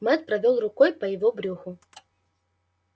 мэтт провёл рукой ему по брюху